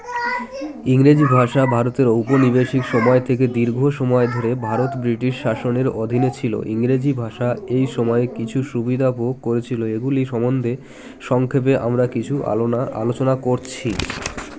ইংরেজি ভাষা ভারতের ঔপনিবেশিক সময় থেকে দীর্ঘ সময় ধরে ভারত বৃটিশ শাসনের অধীনে ছিল ইংরেজি ভাষা এই সময়ে কিছু সুবিধা ভোগ করেছিল এগুলি সম্বন্ধে সংক্ষেপে আমরা কিছু আলোনা আলোচনা করছি